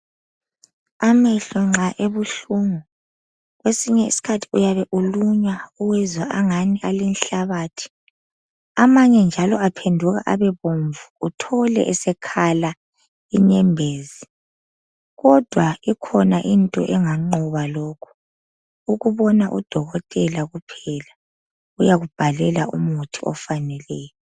Amehlo nxa ebehlungu kwesinye isikhathi uyabe ulunywa uwezwa angani alenhlabathi amanye njalo aphenduka abebomvu uthole esekhala inyembezi kodwa ikhona into enganqoba lokhu ukubona u dokotela kuphela uyakubhalela umuthi ofaneleyo.